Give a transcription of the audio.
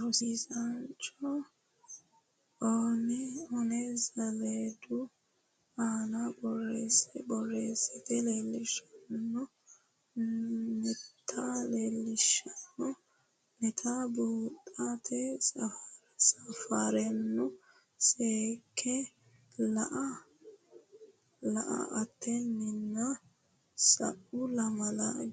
Rosiisaanchi o ne saleedu aana borreesse borreessite leellishanno neta leellishshanno neta buuxote safaraano seekke la atenninna sa u lamalara